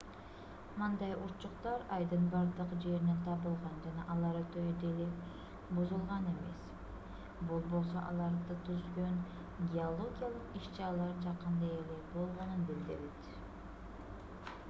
мындай урчуктар айдын бардык жеринен табылган жана алар өтө деле бузулган эмес бул болсо аларды түзгөн геологиялык иш-чаралар жакында эле болгонун билдирет